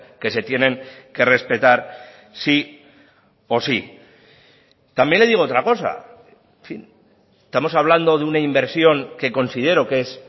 que se tienen que respetar sí o sí también le digo otra cosa en fin estamos hablando de una inversión que considero que es